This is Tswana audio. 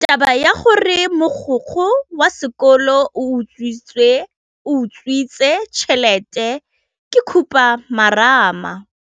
Taba ya gore mogokgo wa sekolo o utswitse tšhelete ke khupamarama.